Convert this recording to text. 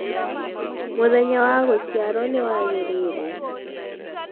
mũthenya wa gũciarwo niwagiriire